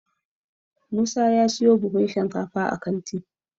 musa ya siyo buhun shinkafa a kanti